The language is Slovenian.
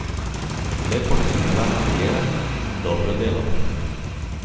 Lepo načrtovana kariera, dobro delo.